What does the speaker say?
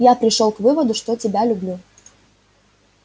я пришёл к выводу что тебя люблю